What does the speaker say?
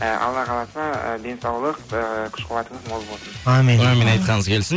і алла қаласа ы денсаулық ыыы күш қуатыңыз мол болсын әумин әумин айтқаныңыз келсін